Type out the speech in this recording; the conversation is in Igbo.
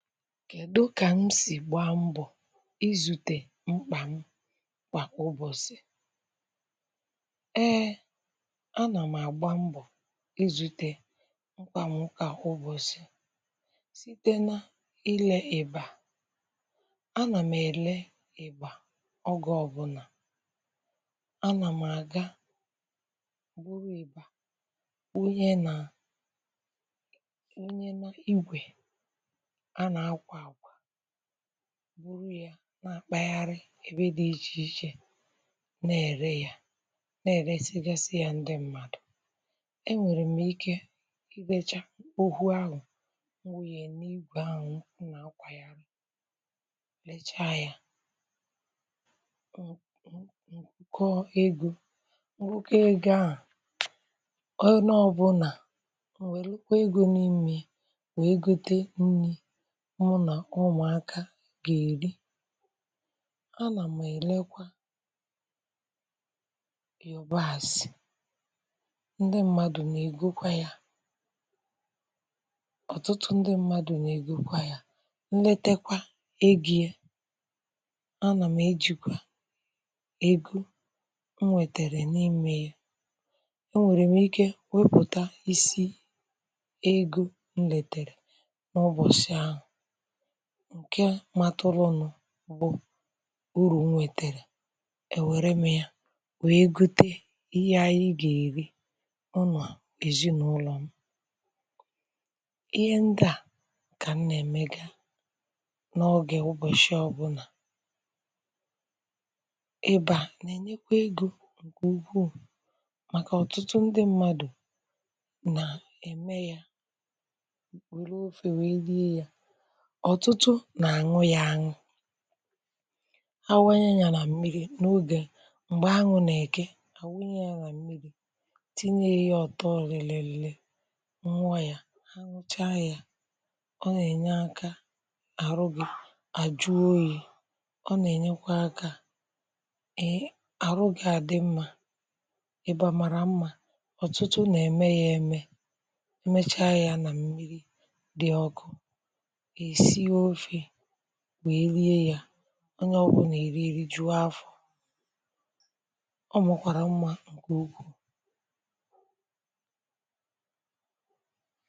Kèdụ kà m sì gbaa mbọ izute mkpà m kwa ụbọchị? Ee, a nà m àgba mbọ izute mkpà m kwa ụbọchị site na ile eba, a nà m èle eba ọgọ ọbụna, a nà m àga buru eba nwunye na, nwunye na igwè a n’akwakwa, buru ya nà-akpagharị ebe dị ichè ichè na-ère ya, na-èresịgasị ya ndị mmadụ. E nwèrè m ike ibècha ụhu ahụ nwụnye na-igwè ahụ m n’akwàgharị, lecha ya, n, n, ụkọ egọ, ǹgụkọ egọ ahụ, ọ ne ọbụla, m wèlụkwa egọ n’ime wèe gote nri mụ nà ụmụakȧ gà-èri, a nà m èlekwa yògbasì ndị mmadụ nà-ègokwa ya, ọtụtụ ndị mmadụ nà-ègokwa ya, nletekwa ego, a nà m ejìkwà ego nwètèrè n’ime ya, e nwèrè m ike wepụta isi egọ nlètèrè n’ụbọsị ahụ ǹke matụlụnụ bụ urù nwètèrè èwère m ya wèe gọte ihe anyị gà-èri n’ụlọ ezinàụlọ m. Ihe ndị a kà m nà-ème gaa n’ọge ụbọchị ọbụna. Eba nà-ènyekwa egọ ǹkè ùkwùù màkà ọtụtụ ndị mmadụ nà-ème ya wère ofè wee rie ya. Ọtụtụ nà-àṅụ ya àṅụ, a nwunye ya nà mmiri, n’ogè mgbè aṅụ nà-èke, a nwụnye ya nà-àmmiri tinye ya ọtọ rìlìli nwụọ ya, ha nwụcha ya, ọ ya ènye akȧ àrụ gị àjụọ oyi, ọ nà-ènyekwa akȧ, èe, àrụ gị à dị mma. Eba màrà mma, ọtụtụ nà-ème ya ème, emecha ya nà mmiri dị ọkụ, e sie ofè, wèe riè ya, ọnye ọbụna erie rijùọ afọ, ọ mà kwàrà mma ǹke ukwuu.